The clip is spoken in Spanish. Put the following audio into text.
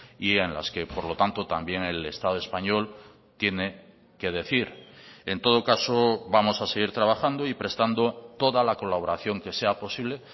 y en las que por lo tanto también el estado español tiene qué decir en todo caso vamos a seguir trabajando y prestando toda la colaboración que sea posible